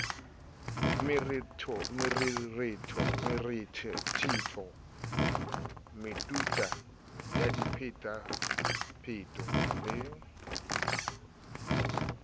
morethetho metuta ya diphetapheto le